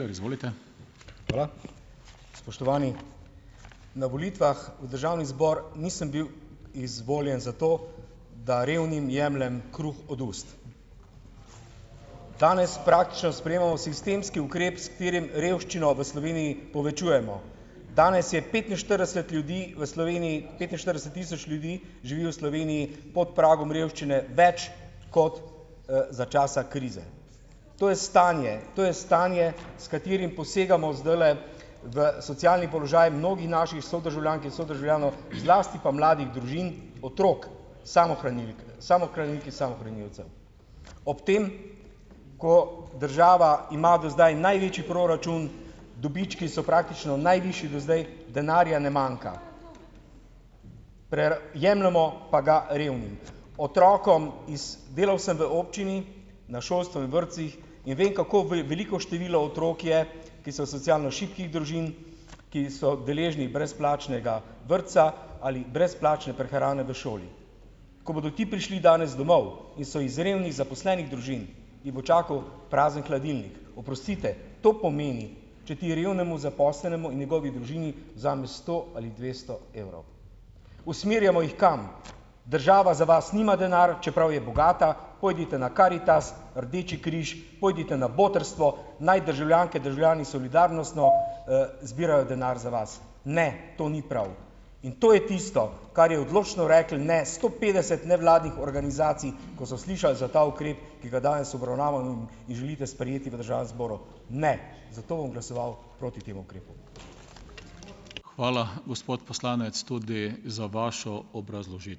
Hvala. Spoštovani, na volitvah v državni zbor nisem bil izvoljen zato, da revnim jemljem kruh od ust. Danes praktično sprejemamo sistemski ukrep, s katerim revščino v Sloveniji povečujemo. Danes je petinštirideset ljudi v Sloveniji petinštirideset tisoč ljudi živi v Sloveniji pod pragom revščine, več kot, za časa krize. To je stanje, to je stanje, s katerim posegamo zdajle v socialni položaj mnogih naših sodržavljank in sodržavljanov, zlasti pa mladih družin, otrok, samohranilk, samohranilk in samohranilcev. Ob tem, ko država ima do zdaj največji proračun, dobički so praktično najvišji do zdaj, denarja ne manjka, jemljemo pa ga revnim, otrokom iz, delal sem v občini, na šolstvu in vrtcih in vem, kako veliko število otrok je, ki so socialno šibkih družin, ki so deležni brezplačnega vrtca ali brezplačne prehrane v šoli. Ko bodo ti prišli danes domov in so iz revnih, zaposlenih družin, jih bo čakal prazen hladilnik - oprostite, to pomeni, če ti revnemu zaposlenemu in njegovi družini vzameš sto ali dvesto evrov. Usmerjamo jih kam? Država za vas nima denar, čeprav je bogata, pojdite na Karitas, Rdeči križ, pojdite na Botrstvo, naj državljanke, državljani solidarnostno, zbirajo denar za vas. Ne, to ni prav in to je tisto, kar je odločno reklo ne sto petdeset nevladnih organizacij, ko so slišali za ta ukrep, ki ga danes in želite sprejeti v državnem zboru. Ne, zato bom glasoval proti temu ukrepu.